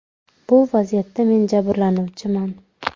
Bu vaziyatda men jabrlanuvchiman.